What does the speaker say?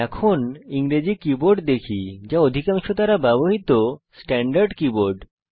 এখন আমরা ইংরেজি কীবোর্ড দেখি যা আমাদের অধিকাংশ দ্বারা ব্যবহৃত স্ট্যান্ডার্ড কীবোর্ড